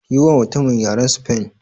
Yiwa mutumin yaren sifen.